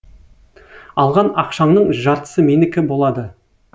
алған ақшаңның жартысы менікі болады